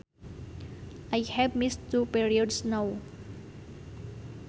I have missed two periods now